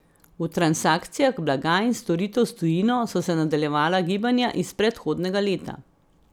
V transakcijah blaga in storitev s tujino so se nadaljevala gibanja iz predhodnega leta.